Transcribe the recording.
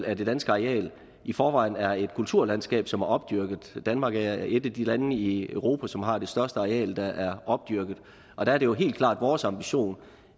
at det danske areal i forvejen er et kulturlandskab som er opdyrket danmark er et af de lande i europa som har det største areal der er opdyrket og der er det jo helt klart vores ambition